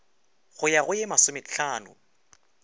go ya go ye masomehlano